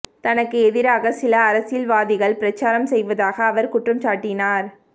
தனக்கு எதிராக சில அரசியல்வாதிகள் பிரசாரம் செய்வதாக அவர் குற்றம்சாட்டினார்